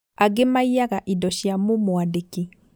Angĩ maiyaga indo cia mũmwandĩki